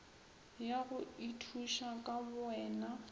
ya go ithuša ka bowena